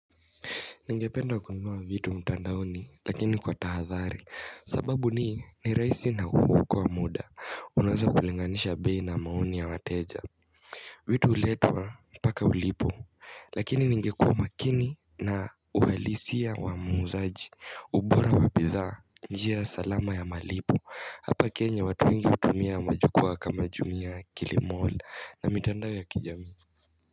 Ningependa kununua vitu mtandaoni lakini kwa tahadhari sababu ni ni rahisi na huokoa wa muda unaweza kulinganisha bei na maoni ya mateja vitu huletwa mpaka ulipo Lakini ningekua makini na uhalisia wa muuzaji ubora wabidhaa njia salama ya malipo Hapa kenya watu wengi hutumia majukua kama jumia kilimola na mitandao ya kijamii.